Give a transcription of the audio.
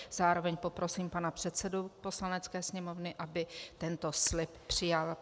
Zároveň poprosím pana předsedu Poslanecké sněmovny, aby tento slib přijal.